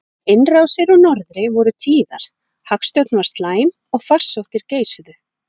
Innrásir úr norðri voru tíðar, hagstjórn var slæm og farsóttir geisuðu.